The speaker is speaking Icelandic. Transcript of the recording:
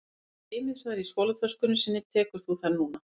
Ef hann geymir þær í skólatöskunni sinni tekur þú þær núna